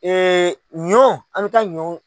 ɲɔ an ka ɲɔ